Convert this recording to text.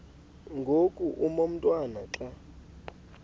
ngoku umotwana xa